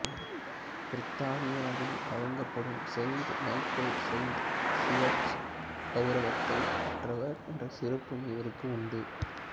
பிரித்தானியாவில் வழங்கப்படும் saint Michael saint George கௌரவத்தை பெற்றவர் என்ற சிறப்பும் இவருக்கு உண்டு